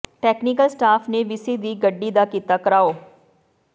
technical staff ਨੇ VC ਦੀ ਗੱਡੀ ਦਾ ਕੀਤਾ ਿਘਰਾਓ